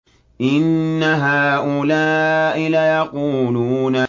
إِنَّ هَٰؤُلَاءِ لَيَقُولُونَ